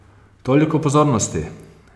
Toliko pozornosti!